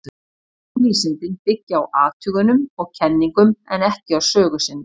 Raunvísindin byggja á athugunum og kenningum, en ekki á sögu sinni.